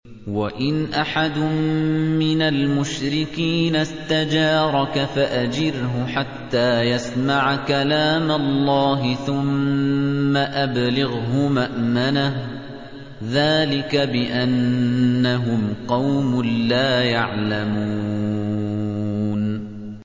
وَإِنْ أَحَدٌ مِّنَ الْمُشْرِكِينَ اسْتَجَارَكَ فَأَجِرْهُ حَتَّىٰ يَسْمَعَ كَلَامَ اللَّهِ ثُمَّ أَبْلِغْهُ مَأْمَنَهُ ۚ ذَٰلِكَ بِأَنَّهُمْ قَوْمٌ لَّا يَعْلَمُونَ